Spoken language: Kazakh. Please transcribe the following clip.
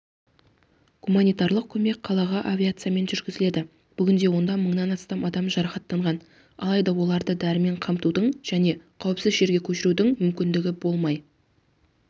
гуманитарлық көмек қалаға авиациямен жеткізіледі бүгінде онда мыңнан астам адам жарақаттанған алайда оларды дәрімен қамтудың және қауіпсіз жерге көшірудің мүмкіндігі болмай